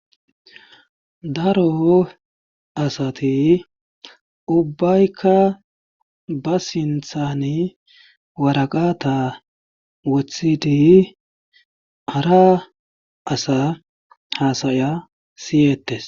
daro asati ubbaykka ba sinthani waraqata wothidi hara asa haasaya siyeettes